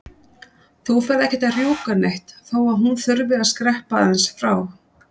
Þú ferð ekkert að rjúka neitt þó að hún þurfi að skreppa aðeins frá!